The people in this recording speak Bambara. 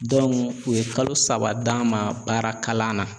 u ye kalo saba d'a ma baara kalan na